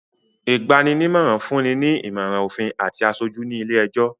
Ìgban-nímọ̀ràn fún ni ìmọ̀ràn òfin àti aṣojú ní ilé-ẹjọ̀